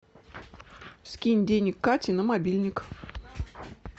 скинь денег кате на мобильник